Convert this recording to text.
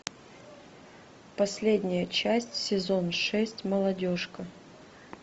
последняя часть сезон шесть молодежка